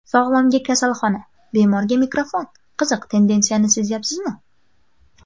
Sog‘lomga kasalxona, bemorga mikrofon Qiziq tendensiyani sezyapsizmi?